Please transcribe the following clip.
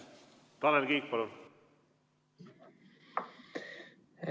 Tanel Kiik, palun!